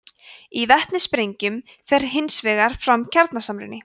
í vetnissprengjum fer hins vegar fram kjarnasamruni